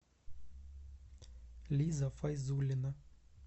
лиза файзулина